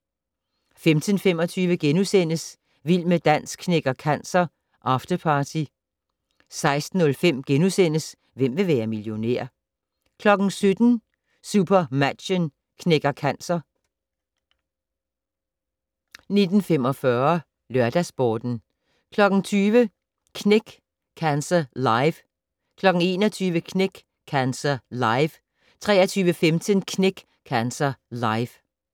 15:25: Vild med dans knækker cancer - afterparty * 16:05: Hvem vil være millionær? * 17:00: SuperMatchen knækker cancer 17:50: Nyhederne 17:54: Regionale nyheder 17:55: SuperMatchen knækker cancer 19:45: LørdagsSporten 20:00: Knæk Cancer Live 21:00: Knæk Cancer Live 23:15: Knæk Cancer Live